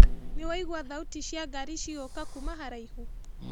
Nĩwaigua thauti cia ngari cigĩũka kuma haraihu?